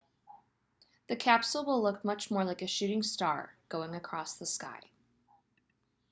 the capsule will look much like a shooting star going across the sky